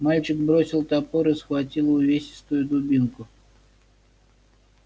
мальчик бросил топор и схватил увесистую дубинку